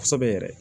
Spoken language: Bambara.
Kosɛbɛ yɛrɛ